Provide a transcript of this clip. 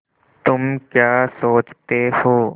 तुम क्या सोचते हो